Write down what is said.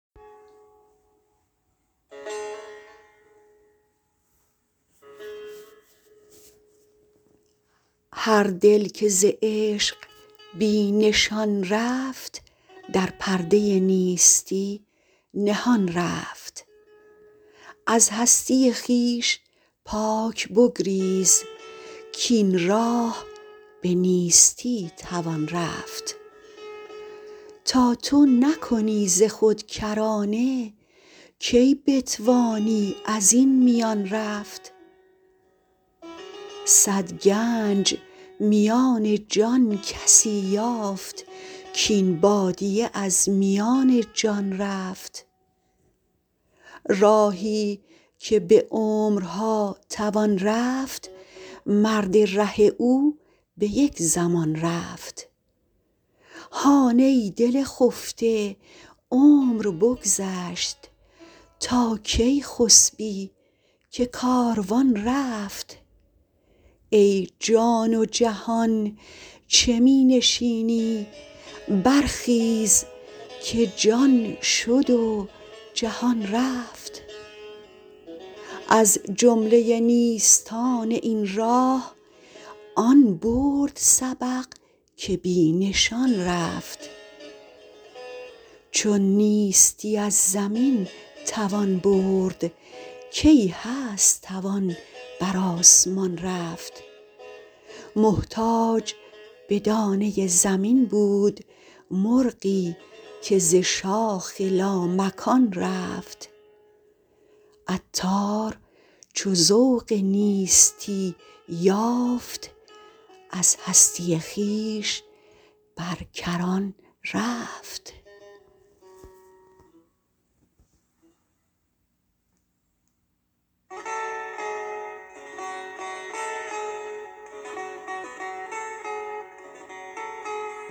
هر دل که ز عشق بی نشان رفت در پرده نیستی نهان رفت از هستی خویش پاک بگریز کین راه به نیستی توان رفت تا تو نکنی ز خود کرانه کی بتوانی ازین میان رفت صد گنج میان جان کسی یافت کین بادیه از میان جان رفت راهی که به عمرها توان رفت مرد ره او به یک زمان رفت هان ای دل خفته عمر بگذشت تا کی خسبی که کاروان رفت ای جان و جهان چه می نشینی برخیز که جان شد و جهان رفت از جمله نیستان این راه آن برد سبق که بی نشان رفت چون نیستی از زمین توان برد کی هست توان بر آسمان رفت محتاج به دانه زمین بود مرغی که ز شاخ لامکان رفت عطار چو ذوق نیستی یافت از هستی خویش بر کران رفت